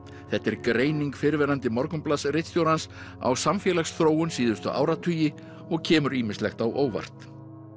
þetta er greining fyrrverandi á samfélagsþróun síðustu áratugi og kemur ýmislegt á óvart